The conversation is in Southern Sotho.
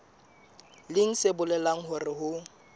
leng se bolelang hore ho